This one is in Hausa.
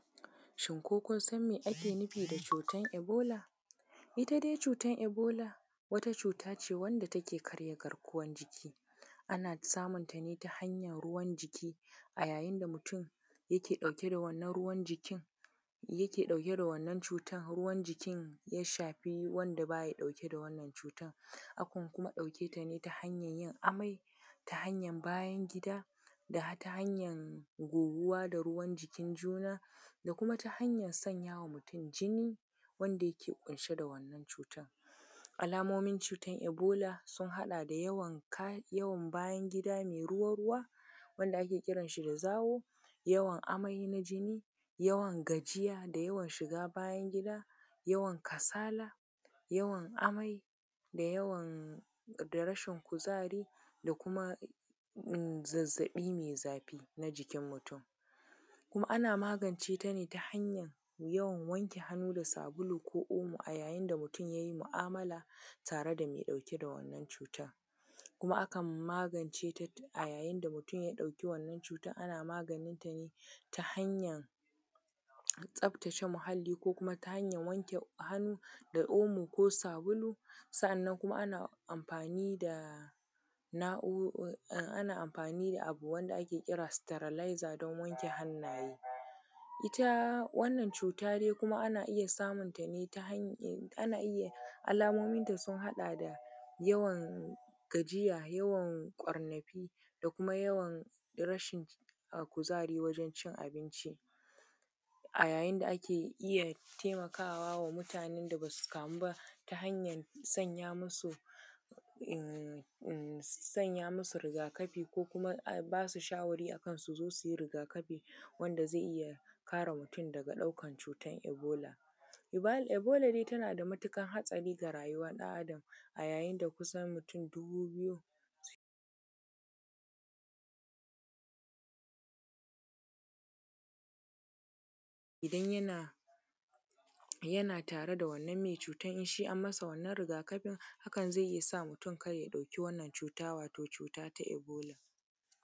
Shin ko kun san me ake nufi da cutan ibola? Ita dai cutan iboda wata cuta ce wanda take ƙarya garkuwan jiki, ana samunta ne ta hanyar ruwan jiki a yayin da mutum yake ɗauke da wannan ruwan jikin, yake ɗauke da wannan cutan ruwan jikin ya shafi wanda baya ɗauke da wannan cutan, akan kuma ɗauke ta ne ta hanyar yin amfani amai, ta hanyar bayan gida, da ta hanyar goguwa da ruwan jikin juna, da kuma ta hanyar sanyawa mutum jini, wanda yike ƙunshe da wannan cutan. Alamomin cutan ibola sun haɗa da yawan ka, yawan bayan gıda ne ruwa-ruwa, wanda ake kiran shi da zawo, yawan amai na jini, yawan gajiya da yawan shiga bayan gida, yawan kasala, yawan amai, da yawan, da rashin kuzari, da kuma in zazzaɓi mai zafi na jikin mutum. Kuma ana magance ta ne ta hanyar yawan wanke hannu da sabulu, ko omo a yayin da mutum ya yi mu’amala tare da mai ɗauke da wannan cutan, kuma akan maganceta a yayin da mutum ya ɗauki wannna cutan ana maganinta ne ta hanyar tsaftace muhali, ko ta hanyar wanke hannu da omo ko sabulu, sa’annan kuma ana amfani da nau’u, ana amfani da abu wanda ake kira da sitirailaiza don wanke hannaye. Ita wannan cuta dai kuma ana iya samunta ne ta hanyar, ana iya, alamomin ta sun haɗa da, yawan gajiya, yawan ƙwarnafi da kuma yawan rashin kuzari wajen cin abinci. A yayin da ake iya taimakawa mutanen da basu kamu ba ta hanyar sanya musu, imm, imm, sanya musu rigakafi ko kuma a basu shawari akan su zo su yi rigakafi, wanda zai iya kare mutum daga ɗaukan cutan ibola. Ibola tana da matuƙar hatsari ga rayuwar ɗan Adam, a yayin da kusan mutum dubu biyu suke….. Idan yana tare da wannan mai cutan idan shi an yi masa rigakafin, hakan zai iya sa mutum kar ya ɗauki wannan cuta, wato cuta ta ibola.